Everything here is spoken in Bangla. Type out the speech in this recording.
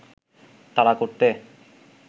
তাড়া করতে